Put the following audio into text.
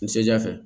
Seja fɛ